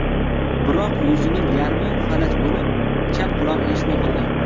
Biroq yuzining yarmi falaj bo‘lib, chap qulog‘i eshitmay qolgan.